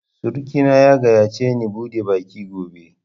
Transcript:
Surki na ya gayyace ni bude baki gobe